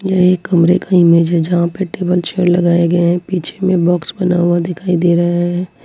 यह एक कमरे का इमेज है जहां पर टेबल चेयर लगाए गए हैं पीछे में बॉक्स बना हुआ दिखाई दे रहा है।